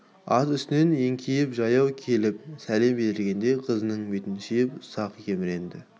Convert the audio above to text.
ат үстінен еңкейіп жаяу келіп сәлем берген қызының бетінен сүйіп ұзақ еміренді